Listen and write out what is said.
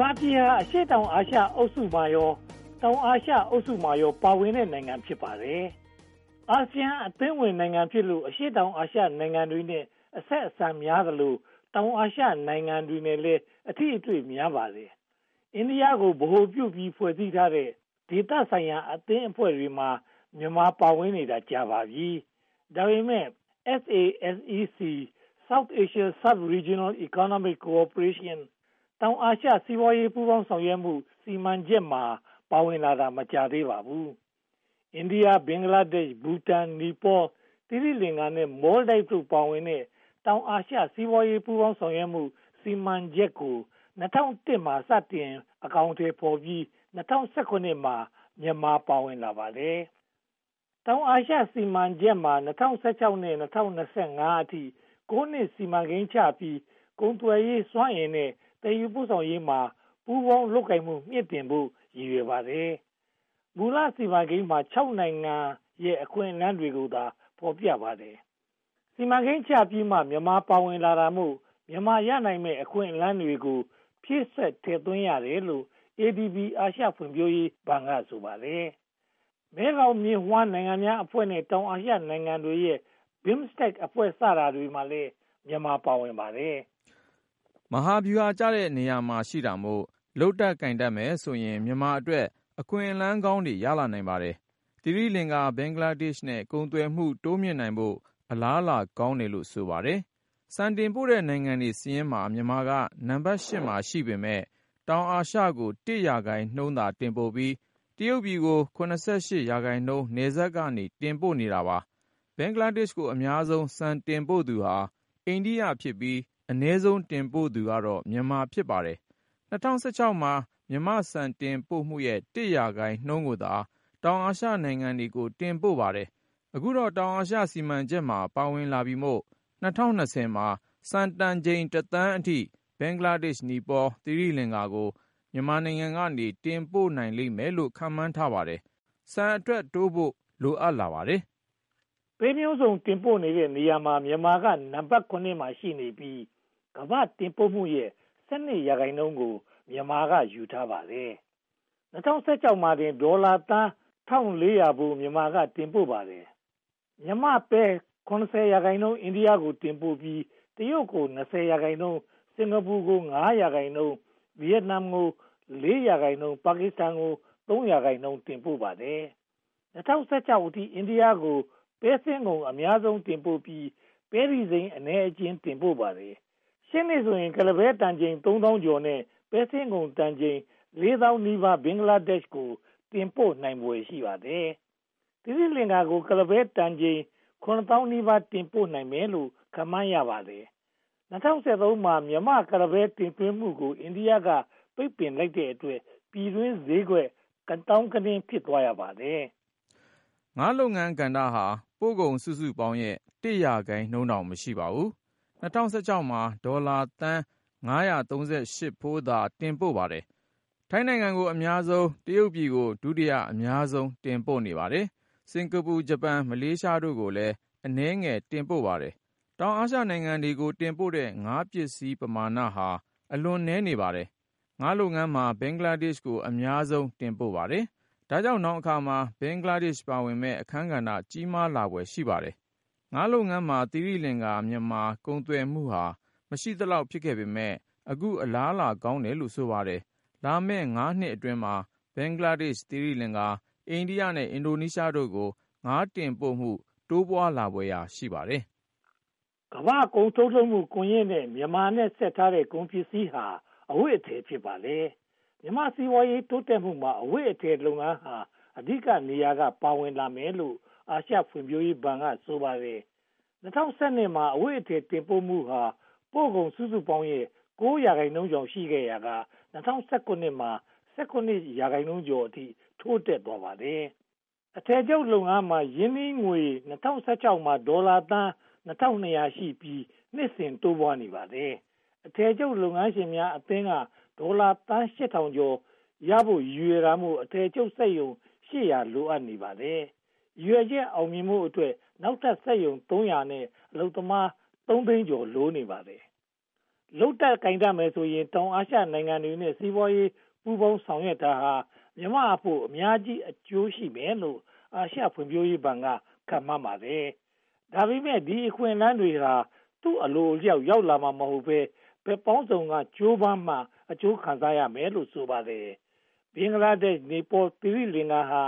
မာပြည်ဟာ အရှေ့တောင်အာရှအုပ်စုနှင့် တောင်အာရှအုပ်စုမှာပါ ပါဝင်တဲ့နိုင်ငံ ဖြစ်ပါတယ်။ အာဆီယံအသင်းဝင်နိုင်ငံဖြစ်လို့ အရှေ့တောင်အာရှနိုင်ငံတွေနဲ့ အဆက်အဆံများသလို၊ တောင်အာရှနိုင်ငံများနဲ့လည်း အထိအတွေ့များပါတယ်။ အိန္ဒိယကို ဗဟိုပြုပြီး ဖွဲ့စည်းထားတဲ့ ဒေသဆိုင်ရာအသင်းအဖွဲ့တွေမှာ မြန်မာပါဝင်နေတာ ကြာပါပြီ။ ဒါပေမဲ့ SASEC-South Asia Subregional Economic Cooperation တောင်အာရှ စီးပွားရေးပူးပေါင်းဆောင်ရွက်မှု စီမံချက်မှာ ပါဝင်လာတာ မကြာသေးပါဘူး။ အိန္ဒိယ၊ ဘင်္ဂလားဒေ့ရှ်၊ ဘူတန်၊ နီပေါ၊ သီရိလင်္ကာနဲ့ မော်လ်ဒိုက်ဗ် ပါဝင်တဲ့ တောင်အာရှ စီးပွားရေးပူးပေါင်းဆောင်ရွက်မှု စီမံချက်ကို (၂၀၀၁) မှာ စတင်အကောင်အထည်ဖော်ပြီး (၂၀၁၇) မှာ မြန်မာပါဝင်လာတာ ဖြစ်ပါတယ်။ တောင်အာရှစီမံချက်မှာ ၂၀၁၆ ကနေ ၂၀၂၅ အထိ (၉) နှစ် စီမံကိန်းချပြီး ကုန်သွယ်ရေး၊ စွမ်းအင်နဲ့ သယ်ယူပို့ဆောင်ရေးမှာ ပူးပေါင်းလုပ်ကိုင်မှု မြှင့်တင်ဖို့ ရည်ရွယ်ပါတယ်။ မူလစီမံကိန်းမှာ (၆) နိုင်ငံရဲ့ အခွင့်အလမ်းတွေကိုသာ ဖော်ပြပါတယ်။ စီမံကိန်းချပြီးမှ မြန်မာပါဝင်လာတာမို့ မြန်မာရနိုင်မယ့် အခွင့်အလမ်းတွေကို ဖြည့်စွက်ထည့်သွင်းရတယ်လို့ ADB အာရှဖွံ့ဖြိုးရေးဘဏ်က ဆိုပါတယ်။ မဲဂေါင်မြစ်ဝှမ်းနိုင်ငံများအဖွဲ့နဲ့ တောင်အာရှနိုင်ငံတွေရဲ့ BIMSTEC အဖွဲ့တွေမှာလည်း မြန်မာ ပါဝင်ပါတယ်။ မဟာဗျူဟာကျတဲ့ နေရာမှာရှိတာမို့ လုပ်တတ်ကိုင်တတ်မယ်ဆိုရင် မြန်မာအတွက် အခွင့်အလမ်းကောင်းတွေ ရလာနိုင်ပါတယ်။ သီရိလင်္ကာ၊ ဘင်္ဂလားဒေ့ရှ်တို့နဲ့ ကုန်သွယ်မှု တိုးမြှင့်နိုင်ဖို့ အလားအလာကောင်းတယ်လို့ ဆိုပါတယ်။ ဆန်တင်ပို့တဲ့ နိုင်ငံစာရင်းမှာ မြန်မာက နံပတ် (၈) နေရာမှာ ရှိပေမယ့် တောင်အာရှကို (၁) ရာခိုင်နှုန်းသာ တင်ပို့ပြီး တရုတ်ပြည်ကို (၇၈) ရာခိုင်နှုန်း နယ်စပ်က တင်ပို့ပါတယ်။ ဘင်္ဂလားဒေ့ရှ်ကို အများဆုံးဆန်တင်ပို့သူဟာ အိန္ဒိယဖြစ်ပြီး၊ အနည်းဆုံး တင်ပို့သူက မြန်မာ ဖြစ်ပါတယ်။ ၂၀၁၆ မှာ မြန်မာ့ဆန်တင်ပို့မှုရဲ့ (၁) ရာခိုင်နှုန်းကိုသာ တောင်အာရှနိုင်ငံတွေကို တင်ပို့ပါတယ်။ အခုတော့ တောင်အာရှ စီမံချက်မှာ ပါဝင်လာပြီမို့ ၂၀၂၀ မှာ ဆန်တန်ချိန် (၁) သန်းအထိ ဘင်္ဂလားဒေ့ရှ်၊ နီပေါနဲ့ သီရိလင်္ကာတို့ကို မြန်မာက တင်ပို့နိုင်လိမ့်မယ်လို့ ခန့်မှန်းပါတယ်။ ဆန်အထွက်နှုန်းတိုးဖို့ လိုအပ်လာပါတယ်။ ပဲမျိုးစုံတင်ပို့တဲ့နေရာမှာ မြန်မာကနံပတ် (၇) ရှိနေပြီး၊ ကမ္ဘာ့တင်ပို့မှုရဲ့ (၁၂) ရာခိုင်နှုန်းကို မြန်မာက ယူထားပါတယ်။ ၂၀၁၆ မှာတင် ဒေါ်လာသန်း (၁၃၉၀) ဖိုး မြန်မာက တင်ပို့ပါတယ်။ မြန်မာ့ပဲ (၆၈) ရာခိုင်နှုန်း အိန္ဒိယကို တင်ပို့ပြီး တရုတ်ကို (၂၀) ရာခိုင်နှုန်း၊ စင်္ကာပူကို (၅) ရာခိုင်နှုန်း၊ ဗိယက်နမ်ကို (၄) ရာခိုင်နှုန်း၊ ပါကစ္စတန်ကို (၃) ရာခိုင်နှုန်း တင်ပို့ပါတယ်။ ၂၀၁၆ အထိ အိန္ဒိယကို ပဲစင်းငုံ (၈၂) ရာခိုင်နှုန်း အများဆုံးတင်ပို့ပြီး ပဲတီစိမ်း (၅) ရာခိုင်နှုန်း အနည်းအကျဉ်း တင်ပို့ပါတယ်။ ရှေ့နှစ်ဆိုရင် ကုလားပဲတန်ချိန် (၃၁၁၂၄) နဲ့ ပဲစင်းငုံတန်ချိန် (၃၇၁၈၈) ဘင်္ဂလားဒေ့ရှ်ကို တင်ပို့နိုင်ဖွယ် ရှိပါတယ်။ သီရိလင်္ကာကို ကုလားပဲတန်ချိန် (၆၅၅၀၀) တင်ပို့နိုင်မယ်လို့ ခန့်မှန်းပါတယ်။ ၂၀၁၃ မှာ မြန်မာ့ကုလားပဲ တင်သွင်းမှုကို အိန္ဒိယက ပိတ်ပင်လိုက်တဲ့အတွက် ပြည်တွင်းပဲဈေးကွက် ကသောင်းကနင်း ဖြစ်သွားခဲ့ပါတယ်။ ငါးလုပ်ငန်းကဏ္ဍဟာ ပို့ကုန်စုစုပေါင်းရဲ့ (၁) ရာခိုင်နှုန်းတောင် မရှိပါဘူး။ ၂၀၁၆ မှာ ဒေါ်လာသန်း (၅၃၈) ဖိုးသာ တင်ပို့ပါတယ်။ ထိုင်းနိုင်ငံကို အများဆုံး (၄၆) ရာခိုင်နှုန်း၊ တရုတ်ပြည်ကို ဒုတိယအများဆုံး (၃၅) ရာခိုင်နှုန်း တင်ပို့ပါတယ်။ စင်္ကာပူ (၁၀) ရာခိုင်နှုန်း၊ ဂျပန် (၅) ရာခိုင်နှုန်း၊ မလေးရှား (၄) ရာခိုင်နှုန်း အနည်းငယ်တင်ပို့ပါတယ်။ တောင်အာရှနိုင်ငံတွေကို တင်ပို့တဲ့ ငါးပစ္စည်းပမာဏဟာ အလွန်နည်း (၂) ရာခိုင်နှုန်းသာ ရှိပါတယ်။ ငါးလုပ်ငန်းမှာ ဘင်္ဂလားဒေ့ရှ်ကို အများဆုံးတင်ပို့ပါတယ်။ ဒါကြောင့် နောင်အခါမှာ ဘင်္ဂလားဒေ့ရှ် ပါဝင်မယ့် အခန်းကဏ္ဍ ကြီးမားလာဖွယ် ရှိပါတယ်။ ငါးလုပ်ငန်းမှာ သီရိလင်္ကာ-မြန်မာ ကုန်သွယ်မှုဟာ မရှိသလောက် ဖြစ်ခဲ့ပေမယ့် အခုအလားအလာကောင်းတယ်လို့ ဆိုပါတယ်။ လာမယ့် ငါးနှစ်အတွင်းမှာ ဘင်္ဂလားဒေ့ရှ်၊ သီရိလင်္ကာ၊ အိန္ဒိယနဲ့ အင်ဒိုနီးရှားတို့ကို ငါးတင်ပို့မှု တိုးပွားလာဖွယ် ရှိပါတယ်။ ကမ္ဘာ့ကုန်ထုတ်လုပ်မှု ကွန်ရက်ကို မြန်မာနဲ့ဆက်ထားတဲ့ ကုန်ပစ္စည်းဟာ အဝတ်အထည် ဖြစ်ပါတယ်။ မြန်မာ့စီးပွားရေး တိုးတက်မှုမှာ အဝတ်အထည်လုပ်ငန်းဟာ အဓိကနေရာက ပါဝင်လာမယ်လို့ အာရှဖွံ့ဖြိုးရေးဘဏ်က ဆိုပါတယ်။ ၂၀၁၂ မှာ အဝတ်အထည် တင်ပို့မှုဟာ ပို့ကုန်စုစုပေါင်းရဲ့ (၉) ရာခိုင်နှုန်းကျော် ရှိခဲ့ရာက ၂၀၁၇ မှာ (၁၇) ရာခိုင်နှုန်းအထိ တိုးတက်သွားပါတယ်။ အထည်ချုပ်လုပ်ငန်းမှာ ရင်းနှီးငွေ ၂၀၁၆ မှာ ဒေါ်လာသန်း (၂၂၀၀) ရှိပြီး နှစ်စဉ်တိုးပွားနေပါတယ်။ အထည်ချုပ်လုပ်ငန်းရှင်များအသင်းက ဒေါ်လာသန်း (၈၀၀၀) ကျော်ရဖို့ ရည်ရွယ်တာမို့ အထည်ချုပ်စက်ရုံ (၈၀၀) လိုနေပါတယ်။ ရည်ရွယ်ချက် အောင်မြင်ဖို့အတွက် နောက်ထပ်စက်ရုံ (၃၀၀) နဲ့ အလုပ်သမား (၃) သိန်းကျော် လိုနေပါတယ်။ လုပ်တတ်ကိုင်တတ်မယ်ဆိုရင် တောင်အာရှနိုင်ငံတွေနဲ့ စီးပွားရေးပူးပေါင်းဆောင်ရွက်ရာမှာ မြန်မာအဖို့ အများကြီးအကျိုးရှိမယ်လို့ အာရှဖွံ့ဖြိုးရေးဘဏ်က ခန့်မှန်းပါတယ်။ ဒါပေမဲ့ ဒီအခွင့်အလမ်းတွေဟာ သူ့အလိုအလျောက် ရောက်လာမှာမဟုတ်ဘဲ၊ ဘက်ပေါင်းစုံက ကြိုးပမ်းမှ အကျိုးခံစားမယ်လို့ ဆိုပါတယ်။ ဘင်္ဂလားဒေ့ရှ်၊ နီပေါနဲ့ သီရိလင်္ကာတို့ဟာ